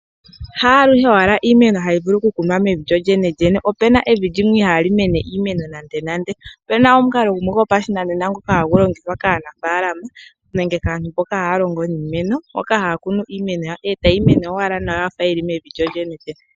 Haaluhe owala iimeno hayi vulu oku kunwa mevi lyo lyene. Opu na evi ndoka ihaali mene iimeno .Opu omukalo gopashinanena ngoka ha gu longithwa kaanafaalama nenge kaantu mboka haa kunu iimeno e ta yi mene yafa owala yili mevi.